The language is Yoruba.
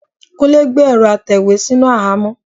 Kúnlé gbé ẹ̀rọ́ atẹ̀wé sínú àhámọ́.